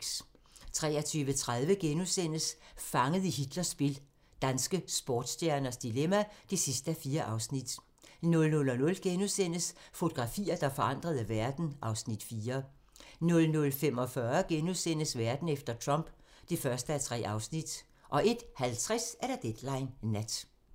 23:30: Fanget i Hitlers spil - danske sportsstjerners dilemma (4:4)* 00:00: Fotografier, der forandrede verden (Afs. 4)* 00:45: Verden efter Trump (1:3)* 01:50: Deadline Nat